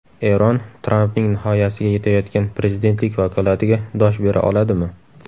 Eron Trampning nihoyasiga yetayotgan prezidentlik vakolatiga dosh bera oladimi?